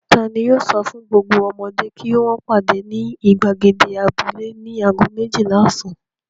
Ta ni yóò sọ fún gbogbo ọmọdé kí wọ́n pàdé ní ìgbàgede abúlé ní ago méjìlá ọ̀sán?